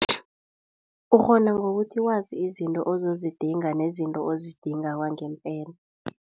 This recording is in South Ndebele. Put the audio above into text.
Ukghona ngokuthi wazi izinto ozozidinga nezinto ozidinga kwangempela.